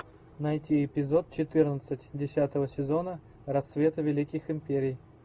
найти эпизод четырнадцать десятого сезона рассветы великих империй